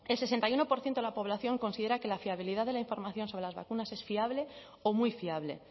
sesenta y uno por ciento de la población considera que la fiabilidad de la información sobre las vacunas es fiable o muy fiable